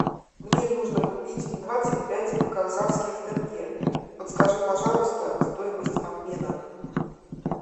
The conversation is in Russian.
мне нужно купить двадцать пять казахских тенге подскажи пожалуйста стоимость обмена